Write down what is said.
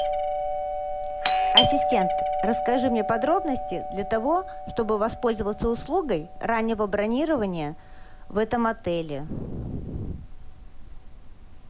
ассистент расскажи мне подробности для того чтобы воспользоваться услугой раннего бронирования в этом отеле